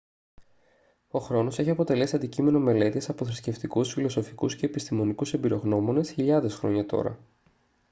ο χρόνος έχει αποτελέσει αντικείμενο μελέτης από θρησκευτικούς φιλοσοφικούς και επιστημονικούς εμπειρογνώμονες χιλιάδες χρόνια τώρα